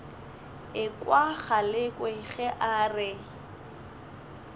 ekwa galekwe ge a re